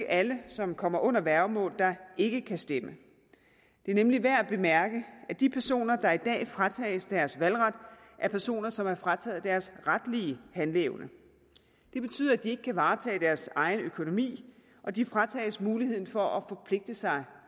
alle som kommer under værgemål der ikke kan stemme det er nemlig værd at bemærke at de personer der i dag fratages deres valgret er personer som er frataget deres retlige handleevne det betyder at de ikke kan varetage deres egen økonomi og de fratages muligheden for at forpligte sig